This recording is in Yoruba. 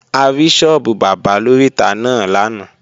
A rí sọ́ọ́bù bábà lóríta náà lánàá